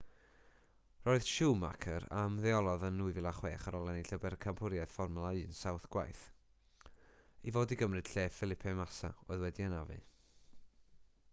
roedd schumacher a ymddeolodd yn 2006 ar ôl ennill y bencampwriaeth fformwla 1 saith gwaith i fod i gymryd lle felipe massa oedd wedi'i anafu